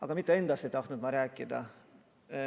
Aga mitte endast ei tahtnud ma rääkida.